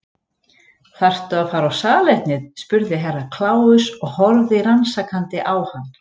Þarftu að fara á salernið spurði Herra Kláus og horfði rannsakandi á hann.